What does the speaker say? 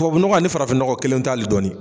Tubabu nɔgɔ a ni farafin ɲɔgɔ kelen tɛ ali dɔɔni